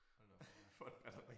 Hold da op ja